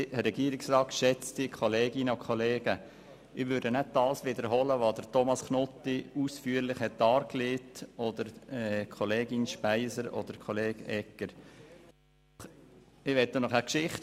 Ich möchte Ihnen eine Geschichte erzählen aus der Zeit, als ich dem Gemeinderat angehörte.